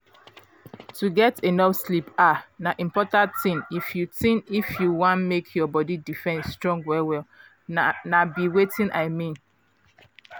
to get enough sleep ah na important thing if you thing if you wan make your body defense strong well-well na be watin i mean